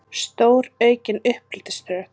Stóraukin uppeldisstöð?